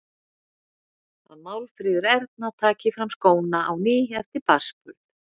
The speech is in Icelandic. Að Málfríður Erna taki fram skóna á ný eftir barnsburð.